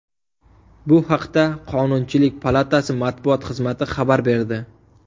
Bu haqda Qonunchilik palatasi matbuot xizmati xabar berdi .